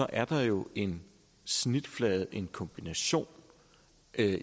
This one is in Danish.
er der jo en snitflade her en kombination af